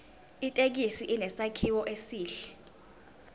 ithekisi inesakhiwo esihle